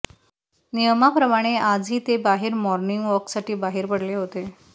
नियमाप्रमाणे आजही ते बाहेर मॉर्निगवॉकसाठी बाहेर पडले होते